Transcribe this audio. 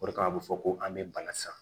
O de kama a bɛ fɔ ko an bɛ bana san